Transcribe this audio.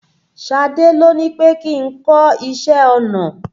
Ṣadé ló ní pè kí n kọ́ iṣẹ́ ọnà.